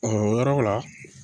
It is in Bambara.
o yɔrɔ la